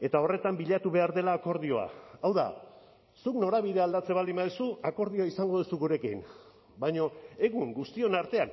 eta horretan bilatu behar dela akordioa hau da zuk norabidea aldatzen baldin baduzu akordioa izango duzu gurekin baina egun guztion artean